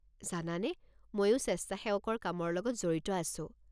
জানানে, মইও স্বেচ্ছাসেৱকৰ কামৰ লগত জড়িত আছো।